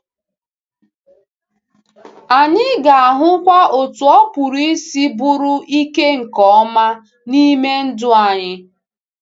Anyị ga-ahụkwa otu ọ pụrụ isi bụrụ ike nke ọma n’ime ndụ anyị.